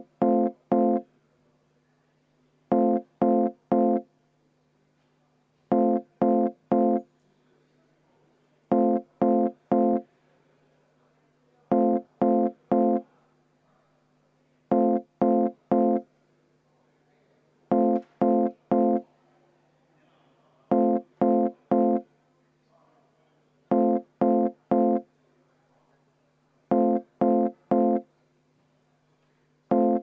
Meil on ju fraktsioonide läbirääkimiste voor, keset läbirääkimisi ei saa minu teada vaheaega võtta.